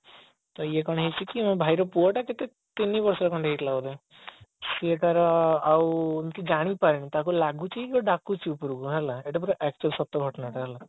ତ ଇଏ କଣ ହେଇଛି କି ମୋ ଭାଇର ପୁଅ ଟା କେତେ ତିନି ବର୍ଷର ହେଇଥିଲା ବୋଧେ ସେ କଣ ଆଉ ଏମିତି ଜାଣିପାରିନି ତାକୁ ଲାଗୁଛି କି କିଏ ଗୋଟା ଡାକୁଛି ଉପରକୁ ଏଇଟା ପୁରା actual ସତ ଘଟଣା ଟା ହେଲା